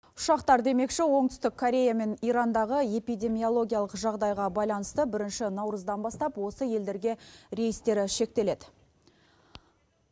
ұшақтар демекші оңтүстік корея мен ирандағы эпидемиялогиялық жағдайға байланысты бірінші наурыздан бастап осы елдерге рейстері шектеледі